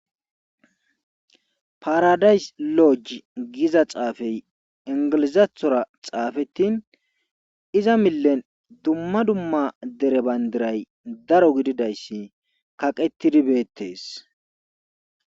Paradize loji giza xaafe ingilizathora xaafe iza milen dumma dumma dere bandiray daro gididayssi kaqetidi beetees.